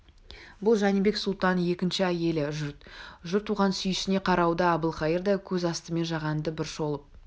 бұл жәнібек сұлтанның екінші әйелі жұрт оған сүйсіне қарауда әбілқайыр да көз астымен жағанды бір шолып